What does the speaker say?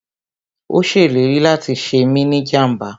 Ó ṣèlérí láti ṣe mí ni jàmbá